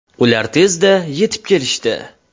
Ular tezda yetib kelishdi.